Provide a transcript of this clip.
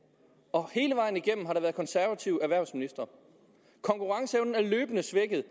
og hele vejen igennem har der været konservative erhvervsministre konkurrenceevnen er løbende svækket